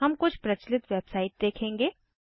हम कुछ प्रचलित वेबसाइट देखेंगे